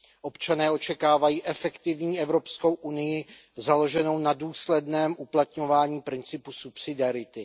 Občané očekávají efektivní Evropskou unii založenou na důsledném uplatňování principu subsidiarity.